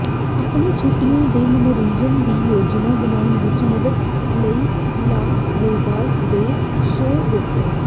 ਆਪਣੇ ਛੁੱਟੀਆਂ ਦੇ ਮਨੋਰੰਜਨ ਦੀ ਯੋਜਨਾ ਬਣਾਉਣ ਵਿੱਚ ਮਦਦ ਲਈ ਲਾਸ ਵੇਗਾਸ ਦੇ ਸ਼ੋਅ ਵੇਖੋ